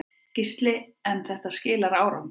Gísli: En þetta skilar árangri?